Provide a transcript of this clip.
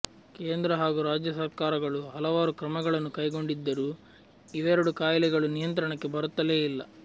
ಕೇಂದ್ರ ಹಾಗೂ ರಾಜ್ಯ ಸರಕಾರಗಳು ಹಲವಾರು ಕ್ರಮಗಳನ್ನು ಕೈಗೊಂಡಿದ್ದರೂ ಇವೆರಡು ಕಾಯಿಲೆಗಳು ನಿಯಂತ್ರಣಕ್ಕೆ ಬರುತ್ತಲೇ ಇಲ್ಲ